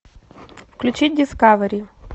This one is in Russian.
включить дискавери